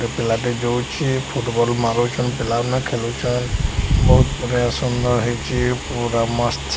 ଏ ପିଲାଟେ ଯାଉଛେ। ଫୁଟବଲ ମାରୁଛନ୍। ପିଲାମାନେ ଖେଲୁଛନ୍। ବୋହୁତ୍ ବଢ଼ିଆ ସୁନ୍ଦର୍ ହେଇଚି। ପୁରା ମସ୍ତ୍ --